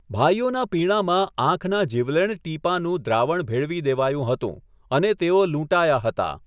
ભાઈઓના પીણાંમાં આંખના જીવલેણ ટીપાંનું દ્રાવણ ભેળવી દેવાયું હતું અને તેઓ લૂંટાયા હતાં.